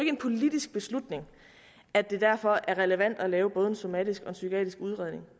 en politisk beslutning at det derfor er relevant at lave både en somatisk og en psykiatrisk udredning